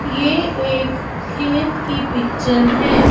ये एक खेत की पिक्चर है।